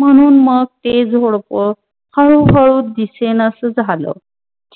म्हणून मग ते झोडप हळू हळू दिसेनास झाल.